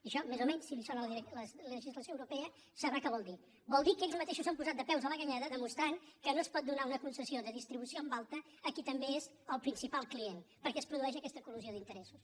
això més o menys si li sona la legislació europea sabrà què vol dir vol dir que ells mateixos s’han posat de peus a la galleda demostrant que no es pot donar una concessió de distribució en alta a qui també és el principal client perquè es produeix aquesta col·lisió d’interessos